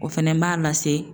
O fɛnɛ b'a lase